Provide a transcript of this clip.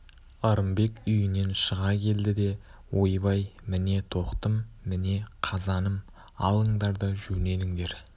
ырымбек үйінен шыға келді де ойбай міне тоқтым міне қазаным алыңдар да жөнеліңдер